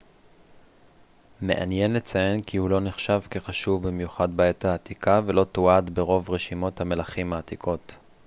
מעניין לציין כי הוא לא נחשב כחשוב במיוחד בעת העתיקה ולא תועד ברוב רשימות המלכים העתיקות